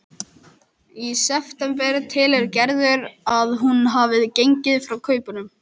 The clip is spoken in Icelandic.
Í september telur Gerður að hún hafi gengið frá kaupunum.